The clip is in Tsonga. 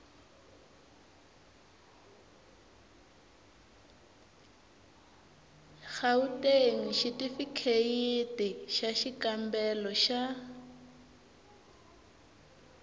gauteng xitifikheyiti xa xikambelo xa